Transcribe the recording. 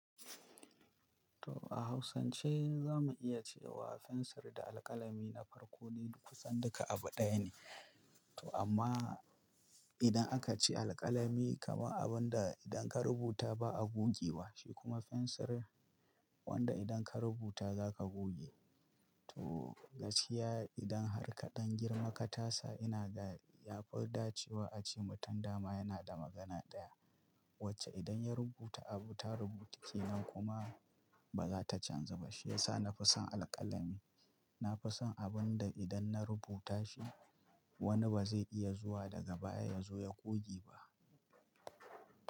To a hausance za mu iya cewa fensir da alƙalami na farko dai kusan duka abu ɗaya ne. To amma idan aka ce alƙalami kamar abun da idan ka rubuta ba a goge wa, shi kuma fensir wanda idan ka rubuta za ka goge. To gaskiya idan harka ɗan girma ka tasa ina ga yafi dace wa ace mutum dama yana da magana ɗaya wacce idan ya rubuta abu ta rubutu kenan kuma ba za ta canza ba. Shi yasa na fi son alƙalami. Na fi son abun da idan na rubuta shi wani ba zai iya zuwa daga baya ya zo ya goge ba.